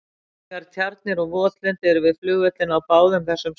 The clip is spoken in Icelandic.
Nægar tjarnir og votlendi eru við flugvellina á báðum þessum stöðum.